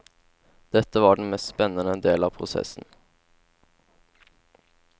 Dette var den mest spennende del av prosessen.